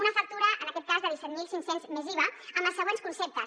una factura en aquest cas de disset mil cinc cents més iva amb els següents conceptes